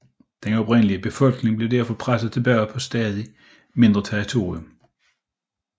Den oprindelige befolkning blev derfor presset tilbage på et stadig mindre territorium